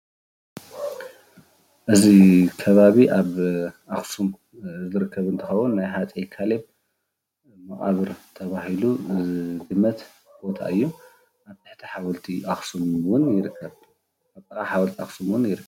እዚ ከባቢ ኣብ ኣክሱም ዝርከብ እንትከውን ናይ ሃፀይ ካሌብ መቃብ ተባሂሉ ዝግመት ቦታ እዩ፡፡ ጥቃ ሓወልቲ ኣክሱ እውን ይርከብ፡፡